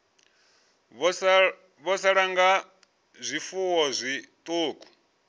vho sala nga zwifuwo zwiṱuku